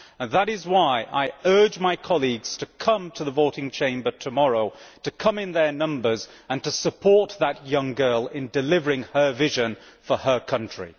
That is why I urge my colleagues to come to the voting chamber tomorrow, to come in large numbers and to support that young girl in delivering her vision for her country.